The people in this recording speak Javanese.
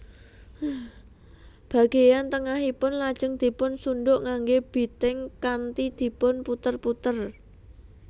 Bageyan tengahipun lajeng dipun sunduk nganggé biting kanthi dipun puter puter